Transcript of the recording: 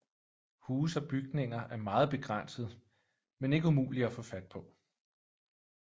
Huse og bygninger er meget begrænset men ikke umuligt at få fat på